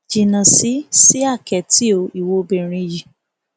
jìnnà sí sí àkẹtì o ìwo obìnrin yìí